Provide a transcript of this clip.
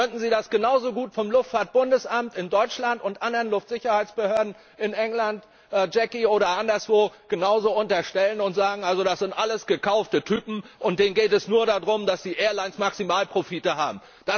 Sonst könnten sie das genauso gut dem Luftfahrtbundesamt in Deutschland und anderen Luftsicherheitsbehörden in England oder anderswo genauso unterstellen und sagen Das sind alles gekaufte Typen, und denen geht es nur darum, dass die Airlines maximale Profite machen.